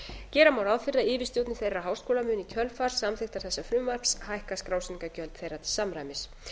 gera má ráð fyrir að yfirstjórnir þeirra háskóla muni í kjölfar samþykktar þessa frumvarps hækka skrásetningargjöld þeirra til samræmis